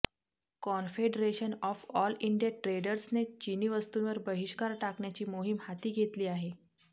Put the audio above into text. confederation of all India ट्रेडर्सने चिनी वस्तूंवर बहिष्कार टाकण्याची मोहीम हाती घेतली आहे